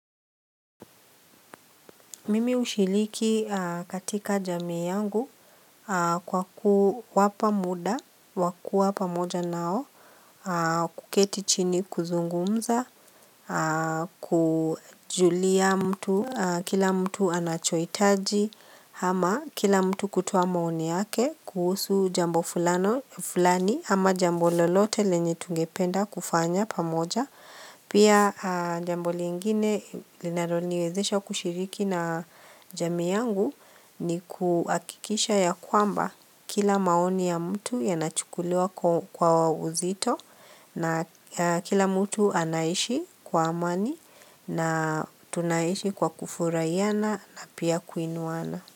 Mimi hushiriki katika jamii yangu kwa kuwapa muda, wakuwa pamoja nao, kuketi chini kuzungumza, kujulia mtu, kila mtu anachohitaji, ama kila mtu kutoa maoni yake kuhusu jambo fulani ama jambo lolote lenye tungependa kufanya pamoja Pia jambo lingine linaloniwezesha kushiriki na jamii yangu ni kuhakikisha ya kwamba kila maoni ya mtu yanachukuliwa kwa uzito na kila mtu anaishi kwa amani na tunaishi kwa kufurahiana na pia kuinuana.